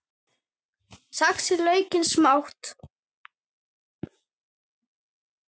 Saxið laukinn smátt.